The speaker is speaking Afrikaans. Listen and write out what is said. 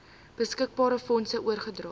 beskikbare fondse oorgedra